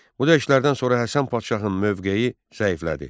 Bu döyüşlərdən sonra Həsən Padşahın mövqeyi zəiflədi.